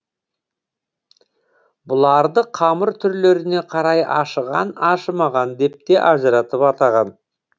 бұларды қамыр түрлеріне қарай ашыған ашымаған деп те ажыратып атаған